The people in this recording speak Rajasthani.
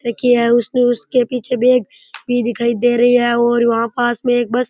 लड़की है उसके पीछे बेग भी दिखाई दे रही है और वहां पास पास में एक बस --